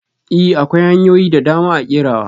I! akwai hanyoyin dadama a kerawa.